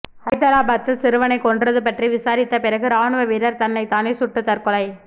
ஹைதராபாத்தில் சிறுவனை கொன்றது பற்றி விசாரித்த பிறகு ராணுவ வீரர் தன்னை தானே சுட்டு தற்கொலை